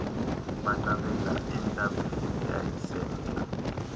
baqabela entabeni eyayisentla